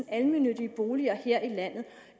almennyttige boliger her i landet